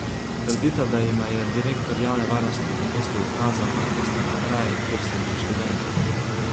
Trdita, da jima je direktor javne varnosti v mestu ukazal, naj gresta na kraj, kjer so bili študenti.